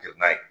Jenna ye